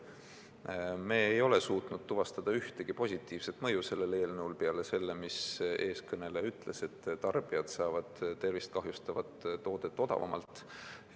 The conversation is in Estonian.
Me ei ole selle eelnõu puhul suutnud tuvastada ühtegi positiivset mõju peale selle, mis üks eelkõneleja ütles: tarbijad saavad tervist kahjustavat toodet odavamalt.